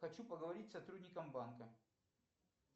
хочу поговорить с сотрудником банка